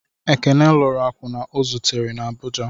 Ekene lụrụ akwụna o zutere na Abụja.